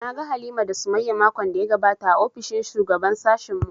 Na ga Halima da Sumayya makon da ya gabata a ofishin shugaban sashen mu